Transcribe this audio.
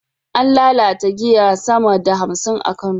An lalata giyar sama da hamsin a Kano